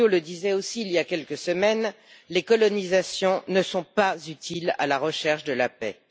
Aliot le disait aussi il y a quelques semaines les colonisations ne sont pas utiles à la recherche de la paix.